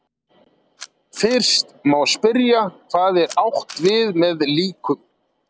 Fyrst má spyrja hvað er átt við með líkum.